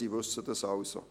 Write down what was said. Sie wissen das also.